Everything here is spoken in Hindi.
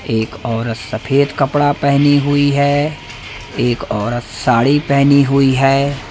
एक औरत सफेद कपड़ा पहनी हुई है एक औरत साड़ी पहनी हुई है।